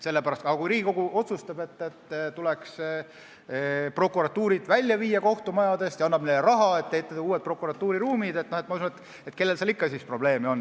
Aga kui Riigikogu otsustab, et tuleks prokuratuur kohtumajadest välja viia, ja annab raha, et ehitada uued prokuratuuriruumid, siis ma usun, et kellel siis ikka probleeme on.